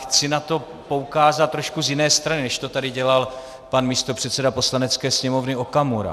Chci na to poukázat trošku z jiné strany, než to tady dělal pan místopředseda Poslanecké sněmovny Okamura.